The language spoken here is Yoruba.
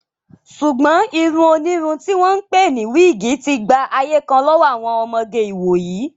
Ṣùgbọ́n irun onírun tí wọ́n ń pè ní wíìgì ti gba ayé kan lọ́wọ́ àwọn ọmọge ìwòyí